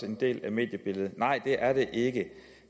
en del af mediebilledet nej det er de ikke